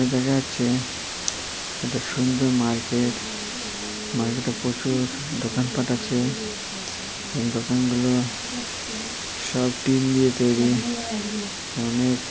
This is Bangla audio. দেখা যাচ্ছে একটা সুন্দর মার্কেট মার্কেটে প্রচুর দোকান পাঠ আছে এবং দোকানগুলো সব টিন দিয়ে তৈরি অনেক ।